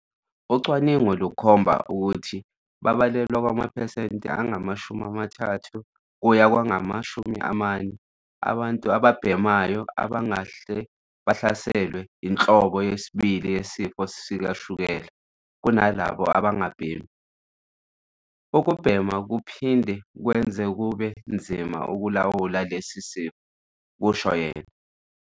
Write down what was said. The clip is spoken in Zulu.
"Ucwaningo lukhomba ukuthi babalelwa kwamaphesenti angama-30 kuya kwangama-40 abantu ababhemayo abangahle bahlaselwe yinhlobo yesibili yesifo sikashukela kunalabo abangabhemi. Ukubhema kuphinde kwenze kube nzima ukulawula lesi sifo," kusho yena.